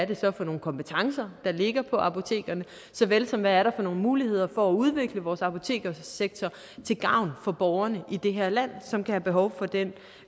det så er for nogle kompetencer der ligger på apotekerne såvel som hvad der er for nogle muligheder for at udvikle vores apoteksektor til gavn for borgerne i det her land som kan have behov for den